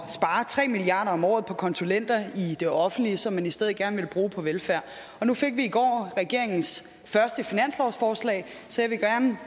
spare tre milliard kroner om året på konsulenter i det offentlige som man i stedet gerne ville bruge på velfærd nu fik vi i går regeringens første finanslovsforslag så jeg vil gerne